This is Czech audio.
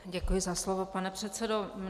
Děkuji za slovo, pane předsedo.